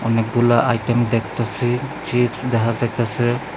অনেকগুলা আইটেম দেখতাছি চিপস দেহা যাইতাছে।